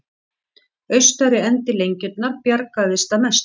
Austari endi lengjunnar bjargaðist að mestu